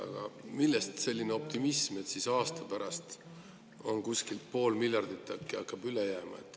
Aga millest selline optimism, et siis aasta pärast äkki jääb kuskil pool miljardit üle?